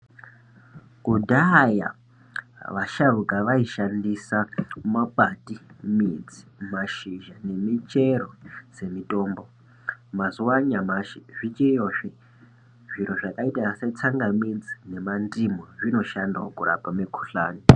Kudhaya vasharuka vaishandisa makwati, midzi, mashizha nemichero dzemitombo. Mazuwa anyamashi zvichiyozve zviro zvakaita setsangamidzi nemandimu zvinosha kurapa mikuhlani.